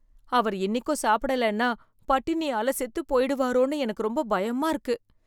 அவர் இன்னிக்கும் சாப்பிடலைன்னா பட்டினியால செத்து போய்டுவாரோன்னு எனக்கு ரொம்ப பயமா இருக்கு.